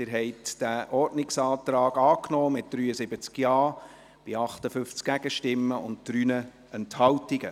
Sie haben diesen Ordnungsantrag angenommen, mit 73 Ja-Stimmen bei 58 Gegenstimmen und 3 Enthaltungen.